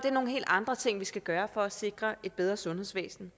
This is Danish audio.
er nogle helt andre ting vi skal gøre for at sikre et bedre sundhedsvæsen